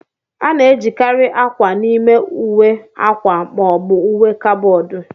A na-ejikarị akwa n'ime ụwe akwa ma ọ bụ uwe kaboodu.